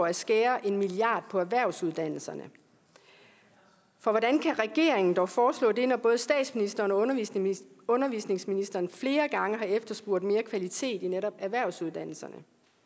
at skære en milliard på erhvervsuddannelserne for hvordan kan regeringen dog foreslå det når både statsministeren og undervisningsministeren flere gange har efterspurgt mere kvalitet i netop erhvervsuddannelserne